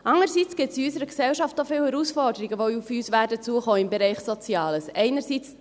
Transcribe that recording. Andererseits gibt es in unserer Gesellschaft auch viele Herausforderungen, die im Bereich Soziales auf uns zukommen werden.